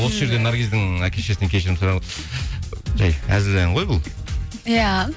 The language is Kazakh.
осы жерден наргиздің әке шешесінен кешірім жай әзіл ән ғой бұл иә